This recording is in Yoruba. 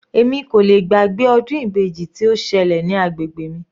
Èmi kò lè gbàgbé ọdún ibeji tí ó ṣẹlẹ̀ ní agbègbè mi.